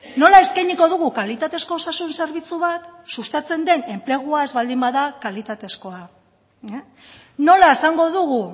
nola eskainiko dugu kalitatezko osasun zerbitzu bat sustatzen den enplegua ez baldin bada kalitatezkoa nola esango dugu